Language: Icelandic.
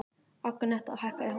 Agneta, hækkaðu í hátalaranum.